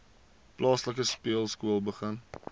plaaslike speelskool begin